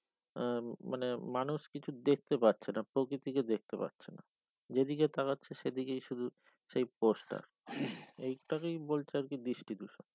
আহ মানে মানুষ কিছু দেখতে পাচ্ছে না প্রকৃতিকে দেখতে পাচ্ছে না যে দিকে তাকাচ্ছে সে দিকে শুধু সেই post এটাকেই বলছে বৃষ্টি দূষণ